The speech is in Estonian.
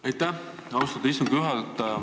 Aitäh, austatud istungi juhataja!